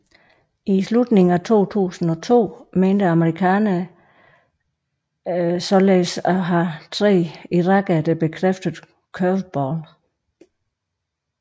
I slutningen af 2002 mente amerikanerene således at have tre irakere der bekræftede Curveball